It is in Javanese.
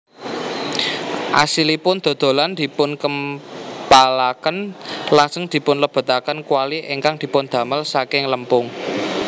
Asilipun dodolan dipunkempalaken lajeng dipunlebetaken kwali ingkang dipundamel saking lempung